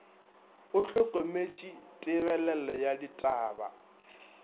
o hlokometše tebelelo ya ditaba